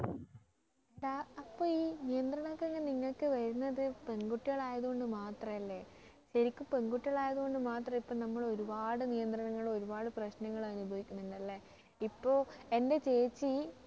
ഡാ അപ്പൊ ഈ നിയന്ത്രണങ്ങളൊക്കെ നിങ്ങൾക്ക് വരുന്നത് പെൺ കുട്ടികളായത് കൊണ്ട് മാത്രം അല്ലേ ശരിക്കും പെൺകുട്ടികളായതു കൊണ്ട് മാത്രം ഇപ്പോൾ നമ്മൾ ഒരുപാട് നിയന്ത്രണങ്ങളും ഒരുപാട് പ്രശ്നങ്ങളും അനുഭവിക്കുന്നുണ്ടല്ലേ ഇപ്പൊ എൻ്റെ ചേച്ചി